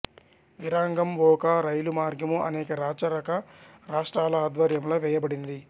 విరాంగంఓఖా రైలు మార్గము అనేక రాచరిక రాష్ట్రాల ఆధ్వర్యంలో వేయబడింది